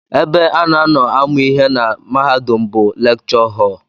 Ebe a na-anọ amụ ihe na mahadum bụ lekchọ họl